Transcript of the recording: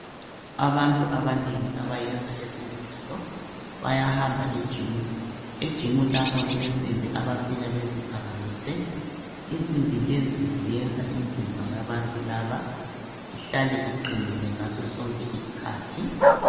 Abantu abanengi abayenza ezemidlalo bayahamba ejimu. Ejimu lapha kulensimbi abafika beziphakamise, insimbi lezi ziyenza imzimba yabantu laba ihlale iqinile ngasosonke isikhathi.